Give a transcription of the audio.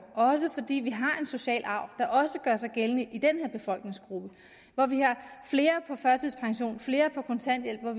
også fordi vi har en social arv der også gør sig gældende i den her befolkningsgruppe hvor vi har flere på førtidspension flere på kontanthjælp og